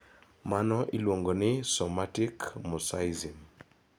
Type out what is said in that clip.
Mano iluongo ni somatic mosaicism.